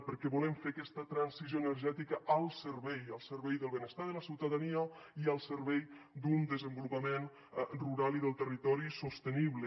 perquè volem fer aquesta transició energètica al servei al servei del benestar de la ciutadania i al servei d’un desenvolupament rural i del territori sostenible